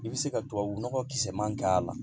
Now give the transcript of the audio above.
I bɛ se ka tubabunɔgɔ kisɛman k'a la